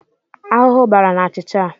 Ahụhụ bara n'achịcha a.